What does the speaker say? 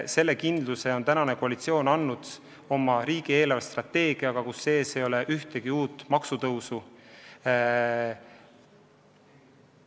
Selle kindluse on koalitsioon riigi eelarvestrateegiaga andnud: ette pole nähtud ühtegi uut maksutõusu.